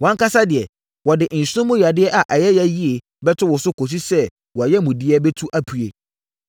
Wʼankasa deɛ, wɔde nsono mu yadeɛ a ɛyɛ ya yie bɛto wo so kɔsi sɛ wʼayamudeɛ bɛtu apue.’ ”